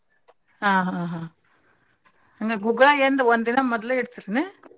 ಹಾ ಹಾ ಹಾ ಹಂಗಾರ್ ಗುಗ್ಗಳಾ ಎಂದ ಒಂದಿನಾ ಮೊದ್ಲ ಇಡ್ತಿರೆನ?